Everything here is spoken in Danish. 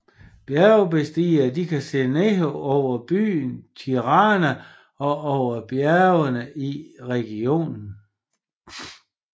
Bjergbestigere kan se ned over byen Tirana og over bjergene i regionen